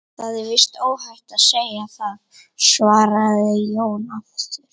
Það er víst óhætt að segja það, svaraði Jón Ólafur.